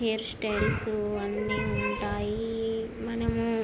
ఇక్కడ hair styles అన్ని ఉంటాయి. మనము --